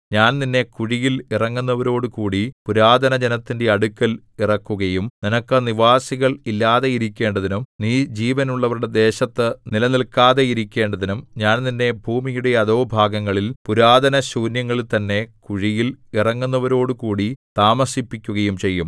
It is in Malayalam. ഞാൻ നിന്നെ കുഴിയിൽ ഇറങ്ങുന്നവരോടുകൂടി പുരാതനജനത്തിന്റെ അടുക്കൽ ഇറക്കുകയും നിനക്ക് നിവാസികൾ ഇല്ലാതെയിരിക്കേണ്ടതിനും നീ ജീവനുള്ളവരുടെ ദേശത്തു നിലനില്‍ക്കാതെയിരിക്കേണ്ടതിനും ഞാൻ നിന്നെ ഭൂമിയുടെ അധോഭാഗങ്ങളിൽ പുരാതനശൂന്യങ്ങളിൽ തന്നെ കുഴിയിൽ ഇറങ്ങുന്നവരോടുകൂടി താമസിപ്പിക്കുകയും ചെയ്യും